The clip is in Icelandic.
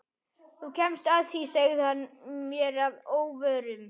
Þú kemst að því sagði hann mér að óvörum.